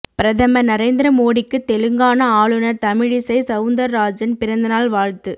பிரதமர் நரேந்திர மோடிக்கு தெலுங்கானா ஆளுநர் தமிழிசை சவுந்தர்ராஜன் பிறந்தநாள் வாழ்த்து